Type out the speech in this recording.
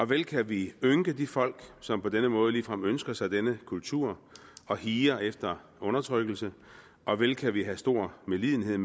vel kan vi ynke de folk som på den måde ligefrem ønsker sig denne kultur og higer efter undertrykkelse og vel kan vi have stor medlidenhed